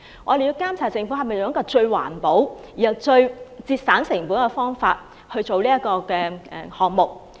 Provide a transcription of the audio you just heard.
我們亦要監察政府是否用最環保和最省錢的方法進行工程。